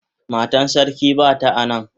Matan sarki bata a nan.